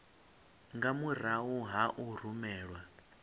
nga murahu ha u rumelwa